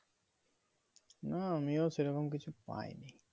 না আমিও সেরকম কিছু পাইনি।